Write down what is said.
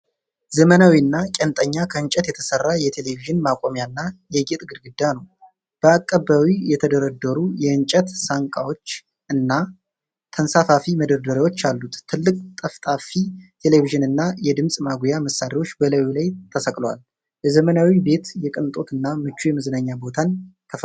ዘመናዊና ቄንጠኛ ከእንጨት የተሠራ የቴሌቪዥን ማቆሚያና የጌጥ ግድግዳ ነው። በአቀባዊ የተደረደሩ የእንጨት ሳንቃዎች እና ተንሳፋፊ መደርደሪያዎች አሉት። ትልቅ ጠፍጣፋ ቴሌቪዥንና ድምፅ ማጉያ መሣሪያዎች በላዩ ላይ ተሰቅለዋል። ለዘመናዊ ቤት የቅንጦት እና ምቹ የመዝናኛ ቦታን ተፈጥሯል ።